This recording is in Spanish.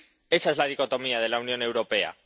Esa es la dicotomía de la Unión Europea.